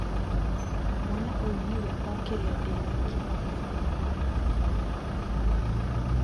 Mwana ũyũ nĩwe o kĩrĩa ndĩnakio.